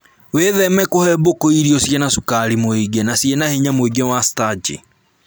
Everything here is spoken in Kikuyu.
Wĩtheme kũhe mbũkũ irio ciĩna cukari mũingĩ na ciĩna hinya mũingĩ wa starchi